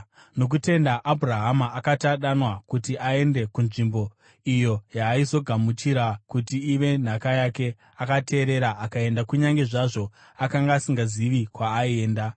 Nokutenda Abhurahama, akati adanwa kuti aende kunzvimbo iyo yaaizogamuchira kuti ive nhaka yake, akateerera akaenda, kunyange zvazvo akanga asingazivi kwaaienda.